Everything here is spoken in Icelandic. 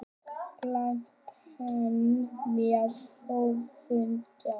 Glæpamenn með höfuðdjásn